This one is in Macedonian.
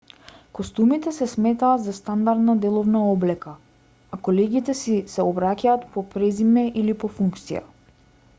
костумите се сметаат за стандардна деловна облека а колегите си се обраќаат по презиме или по функција